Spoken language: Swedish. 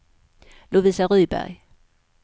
Lovisa Rydberg